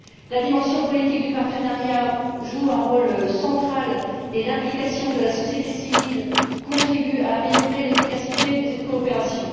La dimension politique du partenariat joue un rôle central et l'implication de la société civile contribue à améliorer l'efficacité de cette coopération.